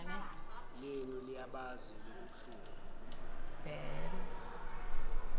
lenu liyabazi lobobuhlungu